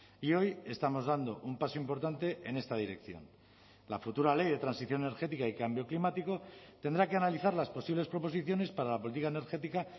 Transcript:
y hoy estamos dando un paso importante en esta dirección la futura ley de transición energética y cambio climático tendrá que analizar las posibles proposiciones para la política energética